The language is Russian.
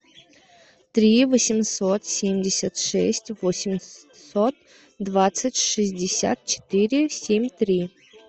три восемьсот семьдесят шесть восемьсот двадцать шестьдесят четыре семь три